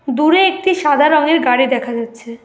দূরে একটি সাদা রঙের গাড়ি দেখা যাচ্ছে।